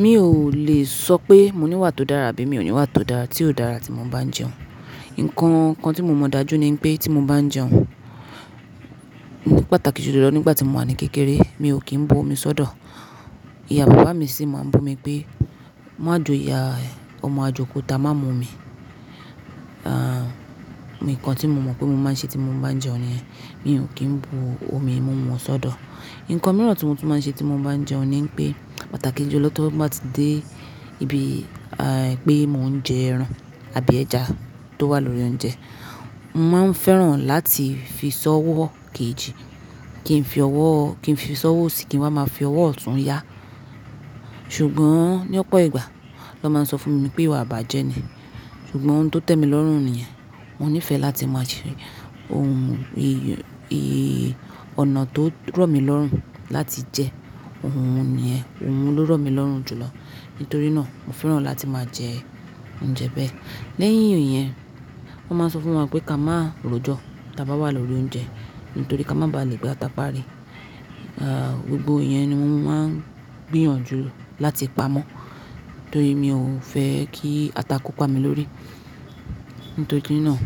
Mi ò lè sọ pé mo ní wà tó dára àbí mi ò ní wà tó dára tí ó dára tí mo bá ń jẹun. Nǹkan kan tí mo mọ̀ dájú ni pé tí mo bá ń jẹun, mo pàtàkì jùlọ lọ nígbà tí mo wà ní kékeré, mi ò kí ń bu omi sọ́dọ̀. Ìyá bàbá mi sì máa ń bu mi pé, "Má joya ẹ ọmọ ajokuta, má mu omi." Ah, nǹkan tí mo mọ̀ pé mo máa ń ṣe tí mo bá ń jẹun ni yẹn, mi ò kí ń bu omi mumu sọ́dọ̀. Ǹkan mìíràn tí mo tú máa ń ṣe tí mo bá ń jẹun ni pé pàtàkì jùlọ tó bá ti dé ibi, àí, pé mò ń jẹ ẹran àbí ẹja tó wà lórí oúnjẹ, mo máa ń fẹ́ràn láti fi s'ọwọ́ kejì. Kí n fi ọwọ́, kí n fi ṣọ́wọ́ òsì kí n wá máa fi ọwọ́ ọ̀tún yáa. Ṣùgbọ́n ní ọ̀pọ̀ ìgbà, lọ́ máa ń sọ fún mi wípé ìwà bàjẹ́ ni. Ṣùgbọ́n oun tó tẹ́ mi lọ́rùn nìyẹn, mo nífẹ̀ẹ́ láti máa ṣe, ohun, i, i, ọ̀nà tó rọ̀ mí lọ́rùn láti jẹ oun nìyẹn, oun ló rọ̀ mí lọ́rùn jùlọ. Nítorí náà, mo fẹ́ràn láti máa jẹ oúnjẹ bẹ́ẹ̀. Lẹ́yìn ìyẹn, wọ́n máa ń sọ fún wa pé ká má ro jọ tí a bá wà lórí oúnjẹ nítorí ká má ba à lè gba ata párí. Ah, gbogbo ìyẹn ni mo máa ń gbìyànjú láti pamọ́ nítorí mi ò fẹ́ kí ata ko pami lórí. Nítorí náà,